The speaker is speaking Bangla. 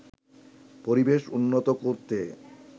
পরিবেশ উন্নত করতে